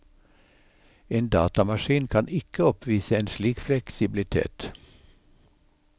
En datamaskin kan ikke oppvise en slik fleksibilitet.